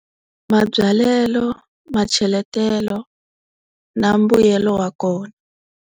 Mabyalelo, macheletelo na mbuyelo wa kona.